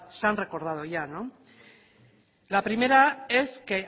se han recordado ya la primera es que